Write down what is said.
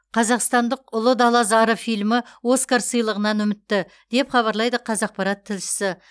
қазақстандық ұлы дала зары фильмі оскар сыйлығынан үмітті деп хабарлайды қазақпарат тілшісі